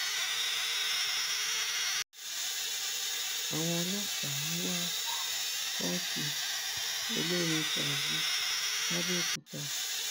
àwọn ọlọpàá ń wa pọ́ọ̀tì olórin sàá su làbẹòkúta